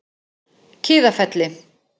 Kiðafelli